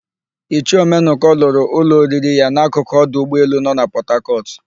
Ichie Ọmenụkọ lụrụ ụlọ oriri ya n'akụkụ ọdụ ụgbọelu no na Pọtakọtụ.